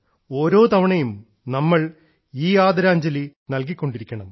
ഓരോ തവണയും നമ്മളീ ആദരാഞ്ജലി നൽകി കൊണ്ടിരിക്കണം